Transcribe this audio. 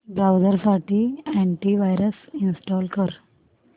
browser साठी anti virus install कर